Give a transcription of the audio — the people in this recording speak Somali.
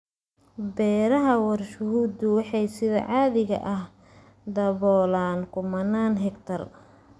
Beeraha warshaduhu waxay sida caadiga ah daboolaan kumanaan hektar.